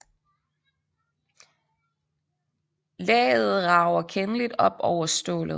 Laget rager kendeligt op over stålet